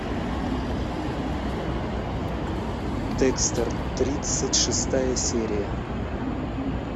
декстер тридцать шестая серия